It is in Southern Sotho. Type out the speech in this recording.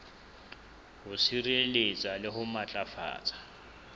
ho sireletsa le ho matlafatsa